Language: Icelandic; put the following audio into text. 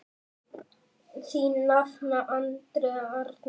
Þín nafna, Andrea Arna.